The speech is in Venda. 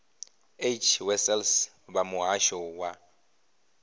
h wessels vha muhasho wa